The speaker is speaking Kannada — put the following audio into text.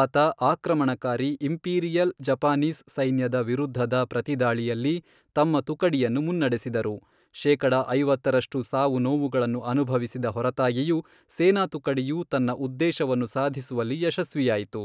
ಆತ ಆಕ್ರಮಣಕಾರಿ ಇಂಪೀರಿಯಲ್ ಜಪಾನೀಸ್ ಸೈನ್ಯದ ವಿರುದ್ಧದ ಪ್ರತಿದಾಳಿಯಲ್ಲಿ ತಮ್ಮ ತುಕಡಿಯನ್ನು ಮುನ್ನಡೆಸಿದರು, ಶೇಕಡ ಐವತ್ತರಷ್ಟು ಸಾವು ನೋವುಗಳನ್ನು ಅನುಭವಿಸಿದ ಹೊರತಾಗಿಯೂ ಸೇನಾತುಕಡಿಯು ತನ್ನ ಉದ್ದೇಶವನ್ನು ಸಾಧಿಸುವಲ್ಲಿ ಯಶಸ್ವಿಯಾಯಿತು.